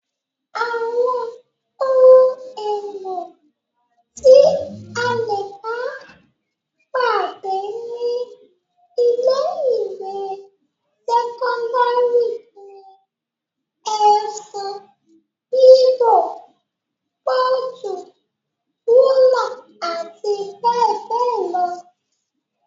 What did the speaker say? Àwọn ohun-èlò tí a le bá pàdé ní ilé-ìwé sẹ́kọ́ndárì ni; ẹ̀fún, bírò, bọ́ọ́dù, rúlà àti bẹ́ẹ̀ bẹ́ẹ̀ lọ.